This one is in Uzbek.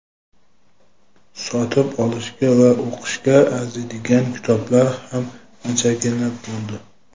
sotib olishga va o‘qishga arziydigan kitoblar ham anchagina bo‘ldi.